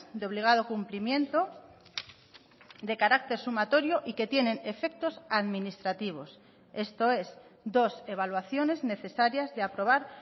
de obligado cumplimiento de carácter sumatorio y que tienen efectos administrativos esto es dos evaluaciones necesarias de aprobar